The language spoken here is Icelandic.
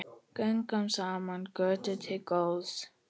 Göngum saman götuna til góðs.